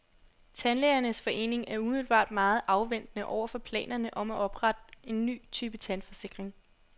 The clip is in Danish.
Tandlægernes forening er umiddelbart meget afventende over for planerne om at oprette en ny type tandforsikring.